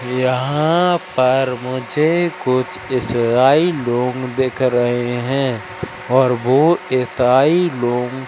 यहां पर मुझे कुछ इसराइ लोग दिख रहे हैं और वो इताई लोग--